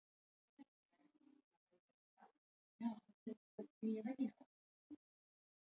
Ekki er vitað hvort áðurnefndar kanínur hafi lifað af í lengri tíma.